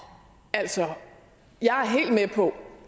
altså jeg er helt med på